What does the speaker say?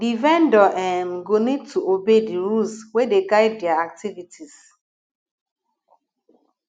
di vendor um go need to obey di rules wey dey guide their activities